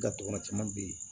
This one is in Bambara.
Gaton kɔnɔ caman be yen